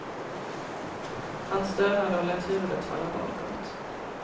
Han stönade och lät huvudet falla bakåt.